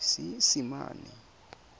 seesimane